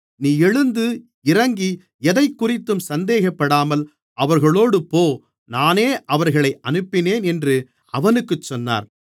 நீ எழுந்து இறங்கி எதைக்குறித்தும் சந்தேகப்படாமல் அவர்களோடு போ நானே அவர்களை அனுப்பினேன் என்று அவனுக்குச் சொன்னார்